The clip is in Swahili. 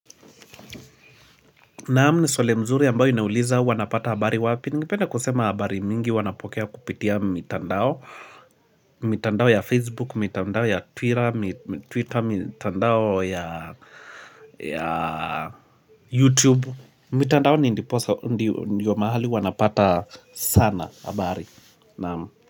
Naamu ni swali mzuri ambayo inauliza huwa napata habari wapi? Ningependa kusema habari mingi huwa napokea kupitia mitandao mitandao ya Facebook, mitandao ya Twitter, mitandao ya YouTube mitandao ni ndiyo mahali huwa napata sana habari Naamu.